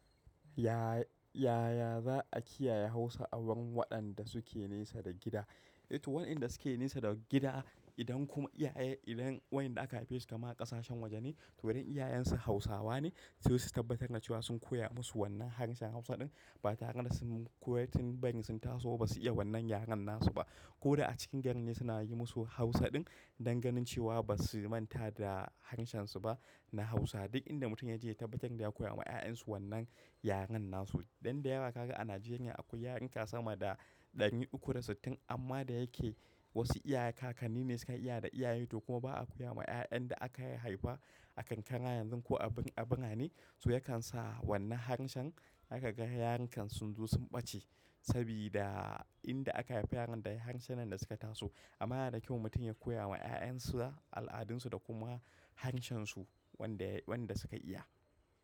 Ya-yaya za a kiyaye Hausa awurin waɗanda suke nesa da gida? To waɗanda suke nesa da gida, idan kuma iyaye idan wa'inda aka haife su kaman a ƙasashen waje ne, to idan iyayensu Hausawa ne, su su tabbatar da cewa sun koya musu wannan harshen Hausa ɗin. Ba tare da su makwatin bari su taso ba su iya wannan yaren nasu ba. Ko da a cikin garin ne suna yi musu Hausa din don ganin cewa basu manta da harshen su ba na Hausa. Duk inda mutum ya je ya tabbatar da ya koya ma 'ya'yansu wannan yaren nasu. Dan da yawa kaga a Najeriya akwai yaruruka sama da ɗani uku da sittin. Amma da yake wasu iyaye kakanni ne sukan iya da iyaye to kuma ba a koya ma 'ya'yan da aka haifa a kankara yanzu ko abin abuna ne. To yakan sa wannan harshen haka ka ga yaranka sun zo sun ɓace. Sabida inda aka haife yaron da harshen nan ne da suka taso. Amma yana da kyau mutum ya koya ma 'ya'yansu al'adunsu da kuma harshensu wanda, wanda suka iya.